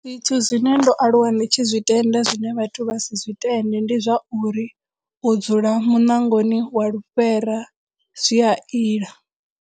Zwithu zwine ndo aluwa ndi tshi zwi tenda zwine vhathu vha si zwi tende ndi zwa uri u dzula muṋangoni wa lufhera zwi a ila.